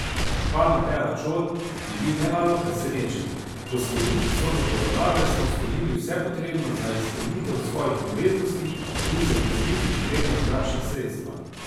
Župan Matej Arčon je bil nemalo presenečen: 'Po sklenitvi sodne poravnave smo storili vse potrebno za izpolnitev svojih obveznosti in zagotovili potrebna finančna sredstva.